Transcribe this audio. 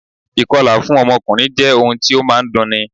Ì̀kọlà fún ọkùnrin jẹ́ ohun tí ó máa ń dunni